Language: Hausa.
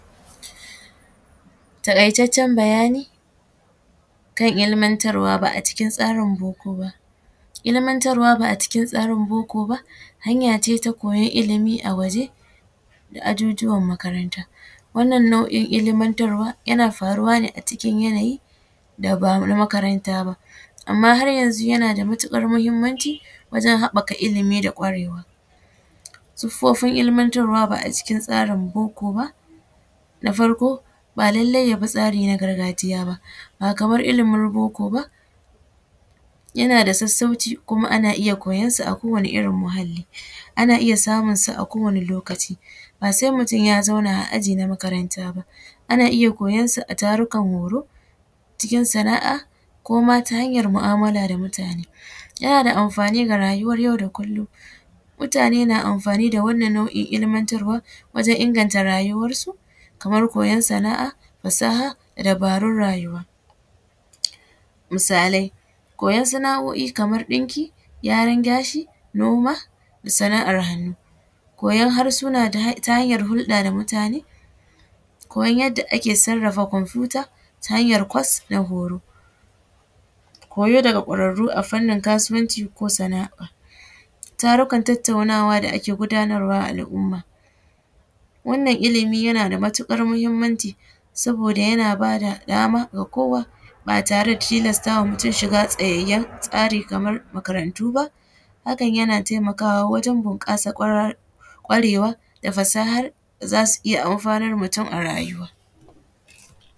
Takaitacen bayani kan ilmantarwa ba a cikin tsarin boko ba, ilmantarwa ba a cikin tsarin boko ba hanya ce ta koyan ilimi a waje da ajujuwan makaranta, wannan nau’in ilmantarwa yana faruwa ne a cikin yanayi da ban a makaranta ba amma har yanzu yana da matukar muhimmanci wajen haɓaka ilimi da gwarewa, sifofin ilmantarwa ba a cikin tsarin boko ba, na farko ba lallai ya bi tsari na gargajiya ba, ba kamar ilimin boko ba yana da sassauci kuma ana iya koyarsa a kowani irin muhali, ana iya samunsa a kowane lokaci ba sai mutum ya zauna a aji na makaranta ba ana iya koyansa a tarukan horo cikin sana’a ko ma ta hanyar mu’amala da mutane yana da amfani ga rayuwar yau da kullum mutane na amfani da nau’in ilmantarwa wajen inganta rayuwar su kamar koyar sana’a fasaha da dabarun rayuwa, misalai koyar sana’o’I kamar ɗinki, kyaran gashi, noma da sanar hannu koyar harsuna ta hanyar hurɗa da mutane, koyar yadda ake sarafa computer ta hanyar course na horo, koyo daga kwarar ro ta hanyar kasuwanci ko sana’a tarukan tattaunawa da ake gudanarwa al’umma, wannan ilimi yana da matukar muhimmanci saboda yana bada dama ga kowa ba tare da tilastawa mutum shiga tsayayyan tsari kamar makarantu ba hakan yana taimakawa wajen bunkasar gwarewa da fasahar da zasu iya anfanar mutum a rayuwa.